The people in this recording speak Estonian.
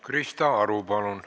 Krista Aru, palun!